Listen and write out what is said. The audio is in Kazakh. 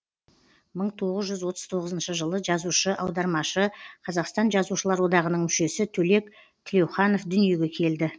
мың тоғыз жүз отыз тоғызыншы жылы жазушы аудармашы қазақстан жазушылар одағының мүшесі төлек тілеуханов дүниеге келді